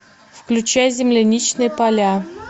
включай земляничные поля